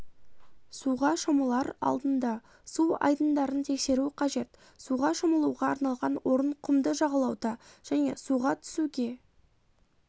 суға шомылар алдында су айдындарын тексеру қажет суға шомылуға арналған орын құмды жағалауда және суға түсуге